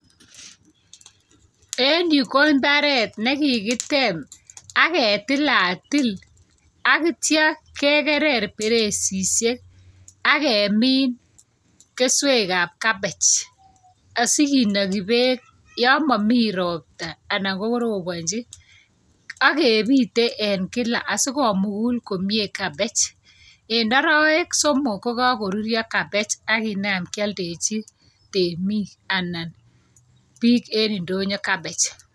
en yu ko mbaret nekikitem aketilatil akitcha kegerer peresisiek akemin keswek ap cabbage sikinagi peek yamami ropta anankorobonchi akebite en kila asikomugul komyie cabbage. en arawek somok kokakoruryo cabbage akinamkialdechi temik anan biik en ndonyo cabbage.